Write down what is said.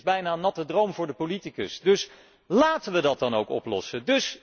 Dit is bijna een natte droom voor de politicus, dus laten wij dat dan ook oplossen.